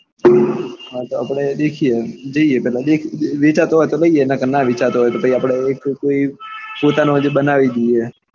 હા તો આપણે દેખીએ જઈએ પેલા વેચાતો હોય તો લઈએ ના વેચાતો હોય તો પછી એ કોઈ પોતાનો આજે બનાવી દઈએ.